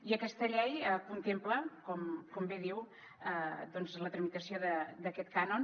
i aquesta llei contempla com bé diu doncs la tramitació d’aquest cànon